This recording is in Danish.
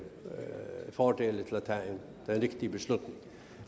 fordele til at tage en rigtig beslutning